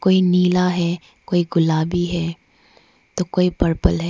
कोई नीला है कोई गुलाबी है तो कोई पर्पल है।